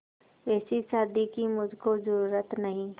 ऐसी शादी की मुझको जरूरत नहीं